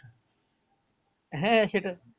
হ্যাঁ সেটা